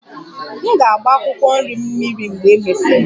M ga-agba akwụkwọ nri m mmiri mgbe e mesịrị